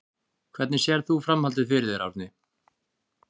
Hvernig sérð þú framhaldið fyrir þér Árni?